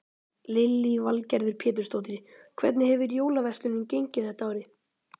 Lillý Valgerður Pétursdóttir: Hvernig hefur jólaverslunin gengið þetta árið?